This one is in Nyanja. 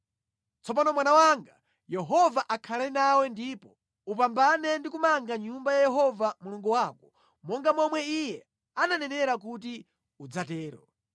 “Tsopano mwana wanga, Yehova akhale nawe ndipo upambane ndi kumanga Nyumba ya Yehova Mulungu wako, monga momwe Iye ananenera kuti udzatero.